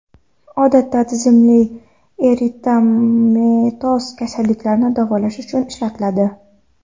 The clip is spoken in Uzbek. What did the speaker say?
Odatda tizimli eritematoz kasalliklarni davolash uchun ishlatiladi.